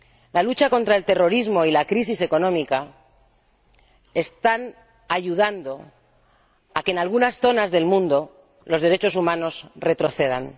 La lucha contra el terrorismo y la crisis económica están ayudando a que, en algunas zonas del mundo, los derechos humanos retrocedan.